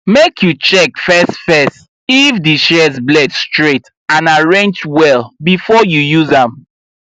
make you check first first if di shears blade straight and arrange well before you use am